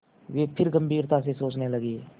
वे फिर गम्भीरता से सोचने लगे